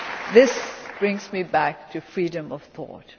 This brings me back to freedom of thought.